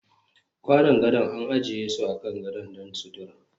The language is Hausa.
Kwanan gado an ajiye su akan gadon don sutura